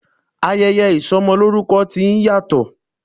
Ayẹyẹ ìsọmọlórúkọ ti ń yàtọ̀.